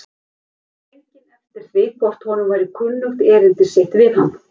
Hann innti drenginn eftir því hvort honum væri kunnugt erindi sitt við hann.